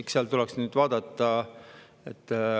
Eks seda tuleks vaadata.